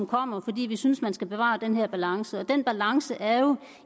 kommer fordi vi synes man skal bevare den her balance og den balance er jo